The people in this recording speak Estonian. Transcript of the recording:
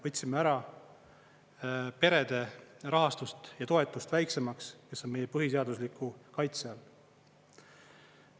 Võtsime ära perede rahastust ja toetust väiksemaks ja see on meie põhiseadusliku kaitse all.